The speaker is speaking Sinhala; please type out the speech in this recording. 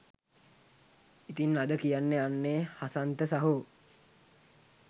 ඉතින් අද කියන්න යන්නේ හසන්ත සහෝ